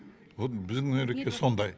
вот біздің нұреке сондай